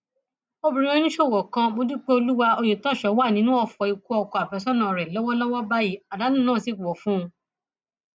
obìnrin oníṣòwò kan módúpẹolúwà ọyẹtọsọ wà nínú ọfọ ikú ọkọ àfẹsọnà rẹ lọwọlọwọ báyìí àdánù náà sì pọ fún un